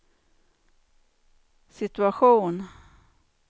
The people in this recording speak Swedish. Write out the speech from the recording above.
situation